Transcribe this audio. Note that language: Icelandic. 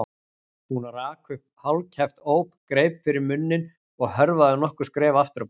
Hún rak upp hálfkæft óp, greip fyrir munninn og hörfaði nokkur skref aftur á bak.